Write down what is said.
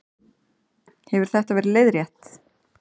Hefur þetta verið leiðrétt